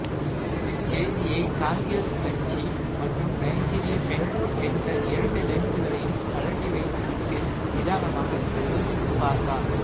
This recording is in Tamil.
இச்செய்தியை காங்கிரசு கட்சி மற்றும் நைஜீரிய பெண் என்ற இரண்டு லென்சுகளையும் கழட்டி வைத்துவிட்டு நிதானமாக யோசித்துப் பார்த்தால்